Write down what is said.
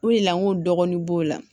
O de la n ko dɔgɔnin b'o la